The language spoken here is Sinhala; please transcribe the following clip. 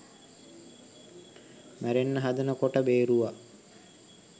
මැරෙන්න හදන කොට බේරුවා.